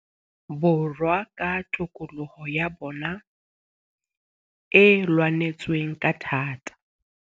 Borwa ka tokoloho ya bona e lwanetsweng ka thata.